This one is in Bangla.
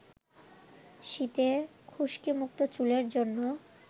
শীতে খুশকিমুক্ত চুলের জন্য